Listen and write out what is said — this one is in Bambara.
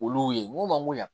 Olu ye n ko mangoro yan